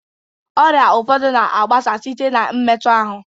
Ọrịa ụfọdụ na-agbasa site na mmetu ahụ.